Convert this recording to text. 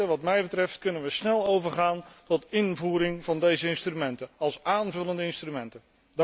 Wat mij betreft kunnen wij snel overgaan tot invoering van deze instrumenten als aanvullende instrumenten.